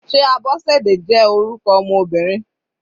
Sé Abosede jẹ́ orúkọ ọmọ Obìnrin?